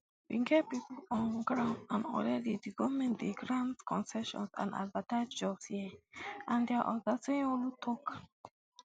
we get pipo on ground and already di goment dey grant concessions and advertise jobs here and dia oga sanyaolu tok